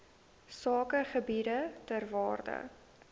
sakegebiede ter waarde